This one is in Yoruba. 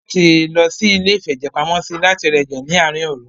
Wọ́n ní láti lọ sí iléìfẹ̀jẹ̀pamọ́sí láti rá ẹ̀jẹ̀ ní àárín òru.